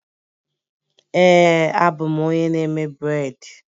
Ee a bụ m onye na-eme bred